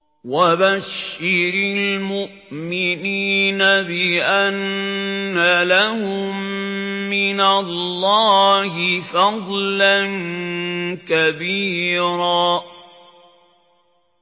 وَبَشِّرِ الْمُؤْمِنِينَ بِأَنَّ لَهُم مِّنَ اللَّهِ فَضْلًا كَبِيرًا